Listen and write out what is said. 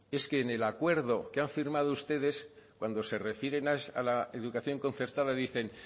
es que en el acuerdo que han firmado ustedes cuando se refieren a la educación concertada dicen